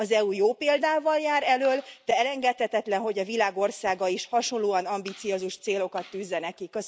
Az EU jó példával jár elöl, de elengedhetetlen, hogy a világ országai is hasonlóan ambiciózus célokat tűzzenek ki.